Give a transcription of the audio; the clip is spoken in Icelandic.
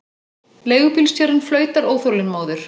Leigubílstjórinn flautar óþolinmóður.